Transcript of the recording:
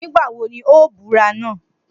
Nigba wo ni o bura naa?